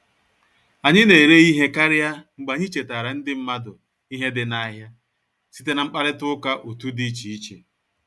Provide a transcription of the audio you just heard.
Anyị na-ere ihe karịa mgbe anyị chetaara ndị mmadụ ihe dị n'ahịa site na mkparịta ụka otu di iche iche